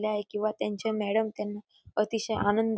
न्याय किंवा त्यांच्या मॅडम त्यांना अतिशय आनंद--